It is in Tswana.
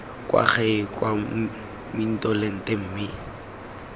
kwa gae kwa mmitolente mme